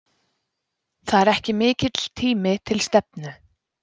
Það er ekki mikill tími til stefnu.